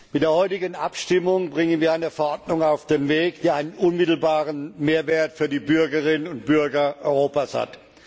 Mit der heutigen Abstimmung bringen wir eine Verordnung auf den Weg, die einen unmittelbaren Mehrwert für die Bürgerinnen und Bürger Europas hat.